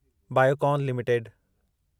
Biocon limited